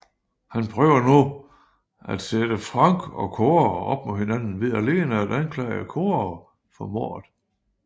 Han prøver nu at sætte Frank og Cora op mod hinanden ved alene at anklage Cora for mordet